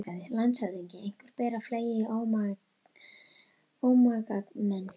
LANDSHÖFÐINGI: Einhverju ber að fleygja í ómagamenn.